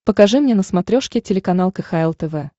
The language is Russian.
покажи мне на смотрешке телеканал кхл тв